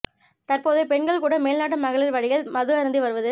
தற்போது பெண்கள் கூட மேல்நாட்டு மகளிர் வழியில் மது அருந்தி வருவது